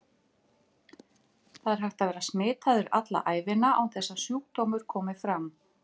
Það er hægt að vera smitaður alla ævina án þess að sjúkdómur komi fram.